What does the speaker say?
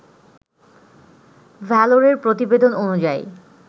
ভ্যালরের প্রতিবেদন অনুযায়ী